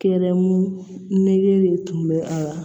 Kɛrɛmu nege de tun bɛ a la